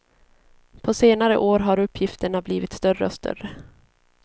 På senare år har uppgifterna blivit större och större.